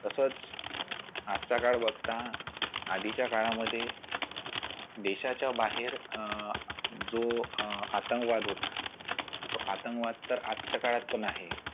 तसच मागचा काळ बघता आधीच्या काळामध्ये देशाच्या बाहेर अह जो अह आतंकवाद होता तो आतंकवाद तर आजच्या काळात पण आहे.